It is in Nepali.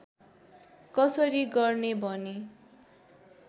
कसरी गर्ने भनी